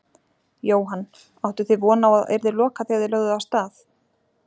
Jóhann: Áttuð þið von á að að yrði lokað þegar þið lögðuð af stað?